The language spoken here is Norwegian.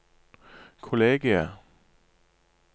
kollegiet